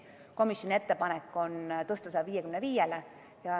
Komisjoni ettepanek on tõsta see 55%-ni.